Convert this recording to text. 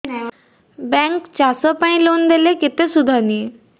bank ଚାଷ ପାଇଁ loan ଦେଲେ କେତେ ସୁଧ ନିଏ